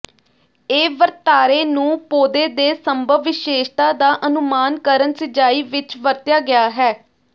ਇਹ ਵਰਤਾਰੇ ਨੂੰ ਪੌਦੇ ਦੇ ਸੰਭਵ ਵਿਸ਼ੇਸ਼ਤਾ ਦਾ ਅਨੁਮਾਨ ਕਰਨ ਸਿਜਾਈ ਵਿੱਚ ਵਰਤਿਆ ਗਿਆ ਹੈ